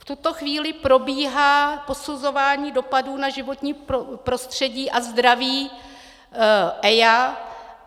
V tuto chvíli probíhá posuzování dopadů na životní prostředí a zdraví EIA.